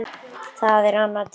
Það er annar tími.